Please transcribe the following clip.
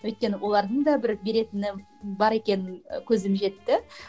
өйткені олардың да бір беретіні бар екенін көзім жетті